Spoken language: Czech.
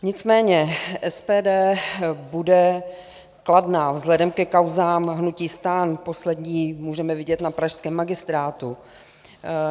Nicméně SPD bude kladná vzhledem ke kauzám hnutí STAN, poslední můžeme vidět na pražském magistrátu.